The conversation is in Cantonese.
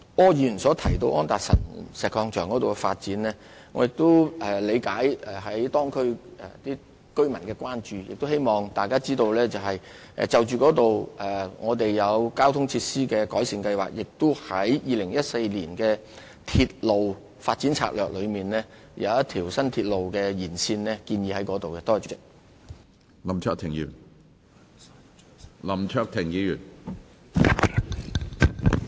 柯議員剛才提到安達臣道石礦場的發展，我理解當區居民的關注，亦希望大家知道，我們已就當區的交通情況擬定交通設施改善計劃，並已在《鐵路發展策略2014》中，建議在該區規劃新的鐵路延線。